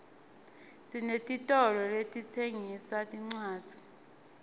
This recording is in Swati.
sinetitolo letitsengisa tincwadzi